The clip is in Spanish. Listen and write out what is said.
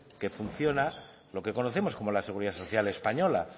que funciona lo que conocemos como la seguridad social española